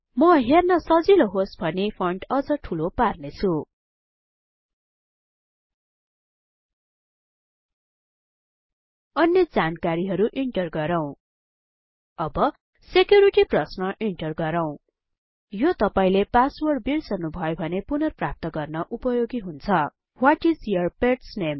म हेर्न सजिलो होस् भनी फन्ट अझ ठूलो पार्ने छुँ अन्य जानकारीहरु इन्टर गरौँ अब सेक्युरिटी प्रश्न इन्टर गरौँ यो तपाईले पासवर्ड बिर्सनु भयो भने पुनर्प्राप्त गर्न उपयोगी हुन्छ what is your pet's name